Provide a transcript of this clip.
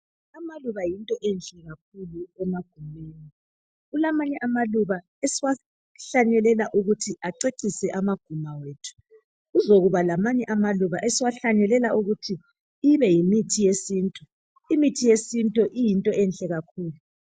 Amaluba yinto enhle kakhulu emagumeni. Kulamanye amaluba esiwahlanyelela ukuthi acecise amaguma ethu kuzokuba lamanye amaluba esiwahlanyelela ukuthi ibe yimithi yesintu. Imithi yesintu iyinto enhle kakhulu.